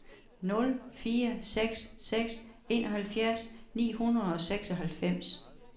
nul fire seks seks enoghalvfjerds ni hundrede og seksoghalvfems